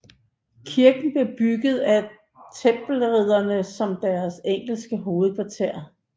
Kirken blev bygget af Tempelridderne som deres engelske hovedkvarter